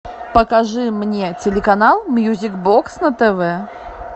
покажи мне телеканал мьюзик бокс на тв